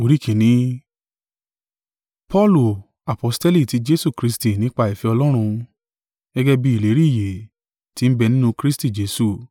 Paulu, aposteli ti Jesu Kristi nípa ìfẹ́ Ọlọ́run, gẹ́gẹ́ bí ìlérí ìyè ti ń bẹ nínú Kristi Jesu,